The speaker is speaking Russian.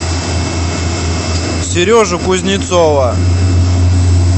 сережу кузнецова